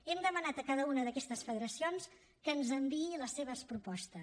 hem demanat a cada una d’aquestes federacions que ens enviï les seves propostes